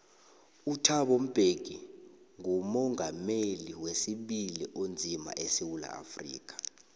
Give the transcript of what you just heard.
uthabo mbeki ngumongameli wesibili onzima esewula afrika